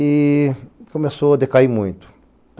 E começou a decair muito.